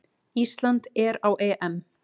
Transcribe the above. Ísland er á EM!